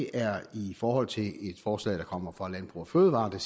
er i forhold til et forslag der kommer fra landbrug fødevarer der